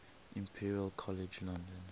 imperial college london